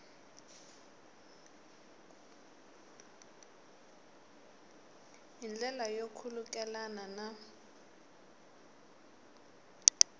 hi ndlela yo khulukelana na